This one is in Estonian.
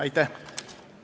Aitäh!